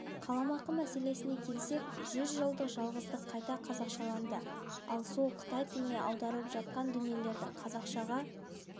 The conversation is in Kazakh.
қаламақы мәселесіне келсек жүз жылдық жалғыздық қайта қазақшаланды ал сол қытай тіліне аударылып жатқан дүниелердің қазақшаға